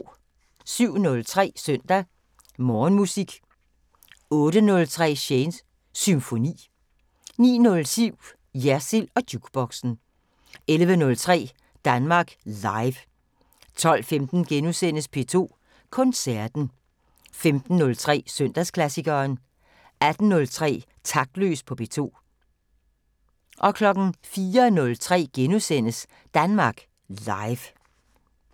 07:03: Søndag Morgenmusik 08:03: Shanes Symfoni 09:07: Jersild & Jukeboxen 11:03: Danmark Live 12:15: P2 Koncerten * 15:03: Søndagsklassikeren 18:03: Taktløs på P2 04:03: Danmark Live *